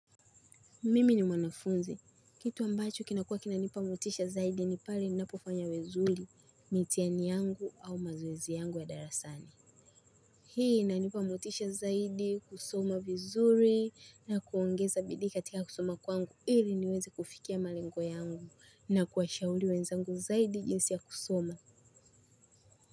Mimi ni mwanafunzi. Kitu ambacho kinakuwa kinanipa motisha zaidi ni pale ninapofanya vizuri mitihani yangu au mazoezi yangu ya darasani. Hii inanipa motisha zaidi kusoma vizuri na kuongeza bidii katika kusoma kwangu ili niweze kufikia malengo yangu na kuwashauri wenzangu zaidi jinsi ya kusoma.